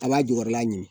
A b'a jukɔrɔla ɲini